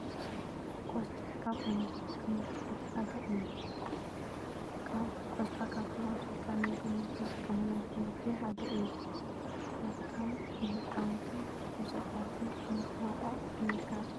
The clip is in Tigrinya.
ቆርጣ ካብ ዓይነታት ኣሕምልቲ እቲ ሓደ እዩ። ቆስጣ ካብቶም ኣብሲልካ ንምግብነት እንጥቀመሎም ኣሕምልቲ ሓደ እዩ። ቆስጣ ንህፃውንትን ንነብሰፁራትን ክምገብኦ ይምከር።